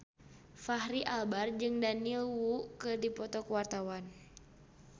Fachri Albar jeung Daniel Wu keur dipoto ku wartawan